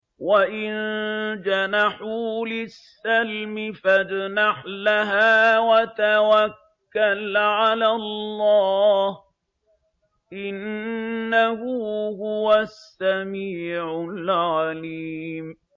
۞ وَإِن جَنَحُوا لِلسَّلْمِ فَاجْنَحْ لَهَا وَتَوَكَّلْ عَلَى اللَّهِ ۚ إِنَّهُ هُوَ السَّمِيعُ الْعَلِيمُ